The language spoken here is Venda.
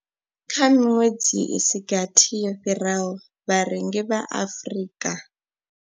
Kha miṅwedzi i si gathi yo fhiraho, vharengi vha Afrika.